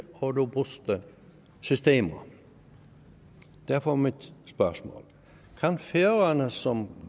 og robuste systemer derfor er mit spørgsmål kan færøerne som